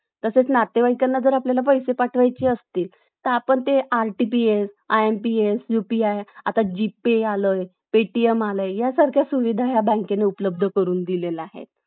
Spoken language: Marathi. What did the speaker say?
आपल्याला थांबवायला पाहिजे मला असं वाटतं कारण, अं अं यामुळे काय होत कि त्या अं मुलांच्या अं शिक्षणावर पण परिणाम होतो. आणि ते अं